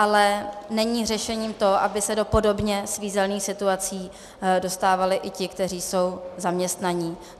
Ale není řešením to, aby se do podobně svízelných situací dostávali i ti, kteří jsou zaměstnaní.